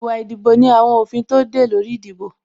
Ìwà ìdìbò ní àwọn òfin tó de e lórí ìdìbò